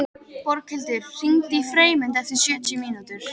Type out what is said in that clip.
Björghildur, hringdu í Freymund eftir sjötíu mínútur.